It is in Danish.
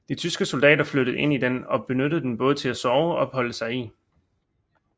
De tyske soldater flyttede ind i den og benyttede den både til at sove og opholde sig i